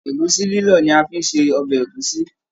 Ẹ̀gúsí lilọ ni a fí n ṣe ọbẹ ẹ̀gúsí.